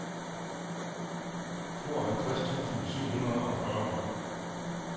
tooghalvtreds tusind syv hundrede og fyrre